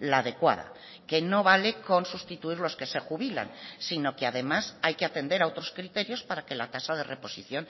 la adecuada que no vale con sustituir los que se jubilan sino que además hay que atender a otros criterios para que la tasa de reposición